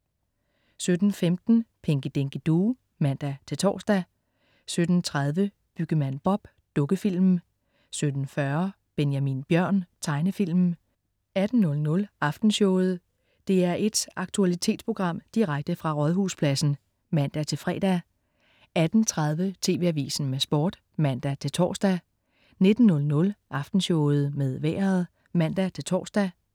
17.15 Pinky Dinky Doo (man-tors) 17.30 Byggemand Bob. Dukkefilm 17.40 Benjamin Bjørn. Tegnefilm 18.00 Aftenshowet. DR1s aktualitetsprogram direkte fra Rådhuspladsen (man-fre) 18.30 TV Avisen med Sport (man-tors) 19.00 Aftenshowet med Vejret (man-tors)